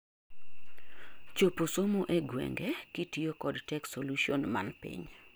chopo somo e gwenge kitiyo kod Tech Solution man piny